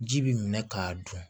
Ji bi minɛ k'a dun